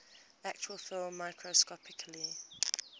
actual film microscopically